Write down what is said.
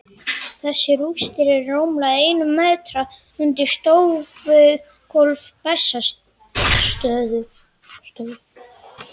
Þessar rústir eru rúmlega einum metra undir stofugólfi Bessastaðastofu.